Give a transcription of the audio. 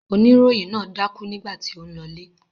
Oníròyìn náà dákú nígbà tí ó ń lọlé.